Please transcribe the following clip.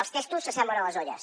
els testos s’assemblen a les olles